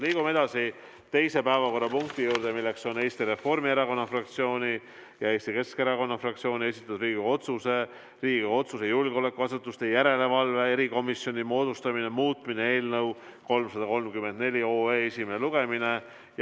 Liigume edasi teise päevakorrapunkti juurde, milleks on Eesti Reformierakonna fraktsiooni ja Eesti Keskerakonna fraktsiooni esitatud Riigikogu otsuse "Riigikogu otsuse "Julgeolekuasutuste järelevalve erikomisjoni moodustamine" muutmine" eelnõu 334 esimene lugemine.